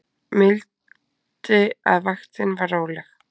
Mildi að vaktin var róleg